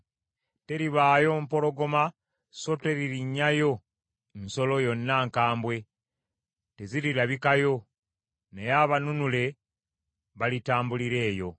Teribaayo mpologoma, so teririnnyayo nsolo yonna nkambwe; tezirirabikayo, naye abanunule balitambulira eyo.